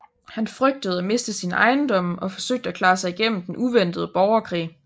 Han frygtede at miste sine ejendomme og forsøgte at klare sig igennem den uventede borgerkrig